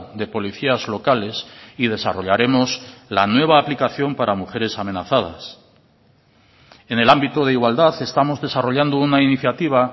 de policías locales y desarrollaremos la nueva aplicación para mujeres amenazadas en el ámbito de igualdad estamos desarrollando una iniciativa